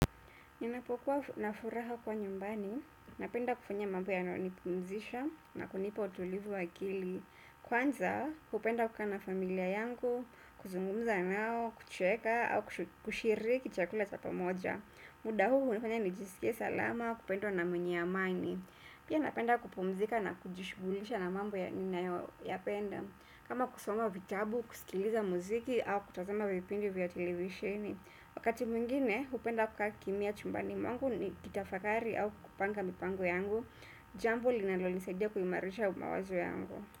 Ninapokuwa na furaha kuwa nyumbani, napenda kufanya mambo yananipumzisha na kunipa utulivu wa akili. Kwanza, kupenda kukaa na familia yangu, kuzungumza nao, kucheka au kushiriki chakula cha pamoja. Muda huu, hunifanya nijisikie salama, kupendwa na mwenye amani. Pia napenda kupumzika na kujishughulisha na mambo ninayoyapenda. Kama kusoma vitabu, kusikiliza muziki au kutazama vipindi vya televisheni. Wakati mwingine, hupenda kukaa kimya chumbani mwangu nikitafakari au kupanga mipango yangu, jambo linalonisaidia kuimarisha mawazo yangu.